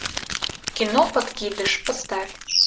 кино подкидыш поставь